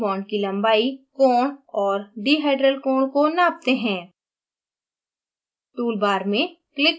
अब aniline की bond की लम्बाई कोण और डीहाइड्राल कोण को नापते हैं